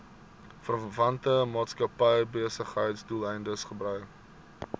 verwante maatskappybesigheidsdoeleindes gebruik